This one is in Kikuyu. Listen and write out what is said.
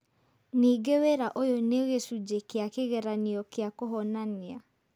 Ningĩ wĩra ũyũ nĩ gĩcunjĩ kĩa kĩgeranio kĩa kũhonania.